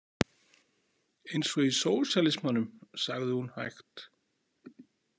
Eins og í sósíalismanum, sagði hún hægt.